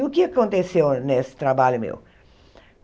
E o que aconteceu nesse trabalho meu?